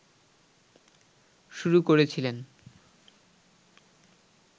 শুরু করেছিলেন